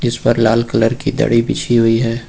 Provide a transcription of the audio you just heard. उस पर लाल कलर की दरी बिछी हुई है।